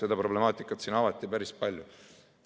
Seda problemaatikat siin avati päris palju.